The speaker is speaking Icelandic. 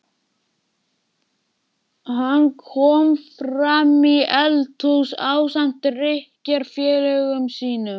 Hann kom framí eldhús ásamt drykkjufélögum sínum.